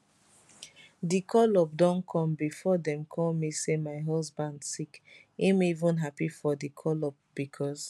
di call up don come bifor dem call me say my husband sick im even happy for di call up becos